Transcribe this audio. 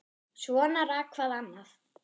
Svona rak hvað annað.